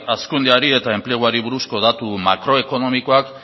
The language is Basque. hazkundeari eta enpleguari buruzko datu makroekonomikoak